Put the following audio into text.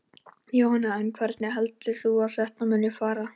Jóhanna: En hvernig heldur þú að þetta muni fara?